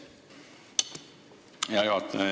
Hea juhataja!